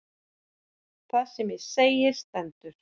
Það sem ég segi stendur.